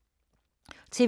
TV 2